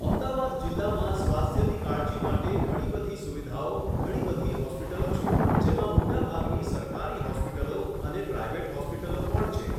અમદાવાદ જિલ્લામાં સ્વાસ્થ્યની કાળજી માટે ઘણી બધી સુવિધાઓ ઘણી બધી હોસ્પિટલો છે જેમાં મોટાભાગની સરકારી હૉસ્પિટલો અને પ્રાઇવેટ હોસ્પિટલો પણ છે